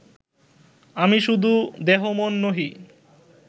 আমি শুধু দেহ-মন নহি